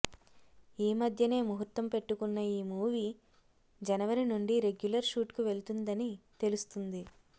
ఈమధ్యనే ముహుర్తం పెట్టుకున్న ఈ మూవీ జనవరి నుండి రెగ్యులర్ షూట్ కు వెళ్తుందని తెలుస్తుంది